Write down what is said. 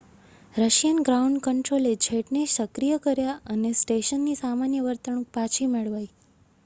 Russian ground કન્ટ્રોલે જેટને સક્રિય કર્યા અને સ્ટેશનની સામાન્ય વર્તણૂક પાછી મેળવાઈ